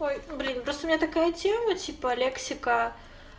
ой блин просто у меня такая тема типа лексика